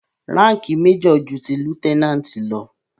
Ránkìì major ju ti lieutenant lọ.